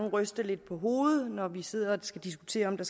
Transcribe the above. at ryste lidt på hovedet altså når vi sidder og diskuterer om der